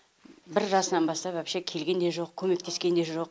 бір жасынан бастап вообще келген де жоқ көмектескен де жоқ